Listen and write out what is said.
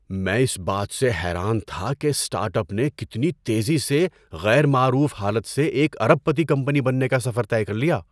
میں اس بات سے حیران تھا کہ اس اسٹارٹ اپ نے کتنی تیزی سے غیر معروف حالت سے ایک ارب پتی کمپنی بننے کا سفر طے کر لیا۔